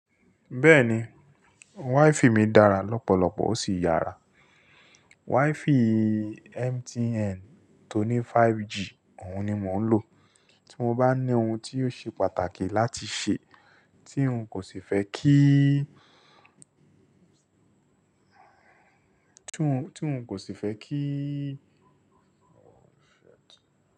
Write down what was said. Bẹ́ẹ̀ni, WiFi mi dára lọ́pọ̀lọpọ̀ ó sì yára. WiFi MTN tó ní 5G, òun ni mò ń lò. Tí mo bá ní ohun tí yóò ṣe pàtàkì láti ṣe tí ń kò sì fẹ́ kí, tí ń kò sì fẹ́ kí.